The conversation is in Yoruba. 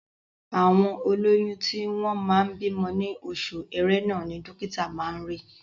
Àwọn olóyún tí wọ́n máa bímọ ní oṣù Ẹrẹ́nà ni dọ́kítà máa ri.